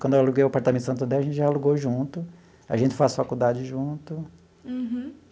Quando eu aluguei o apartamento em Santo André, a gente já alugou junto, a gente faz faculdade junto. Uhum.